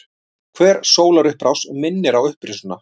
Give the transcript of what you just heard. Hver sólarupprás minnir á upprisuna.